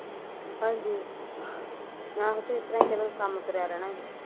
ਹਾਂਨੀ ਆਹੋ ਤੇ ਇਸਤਰਾਂ ਤੇ ਈ ਚਲੋ ਕੰਮ ਤੁਰਿਆ ਰਹਿਨਾ ਸੀ